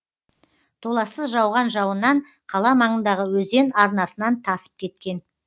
толассыз жауған жауыннан қала маңындағы өзен арнасынан тасып кеткен